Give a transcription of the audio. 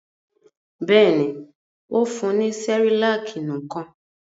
Bẹ́ẹ̀ ni, ó fún ní Cerelac nìkan.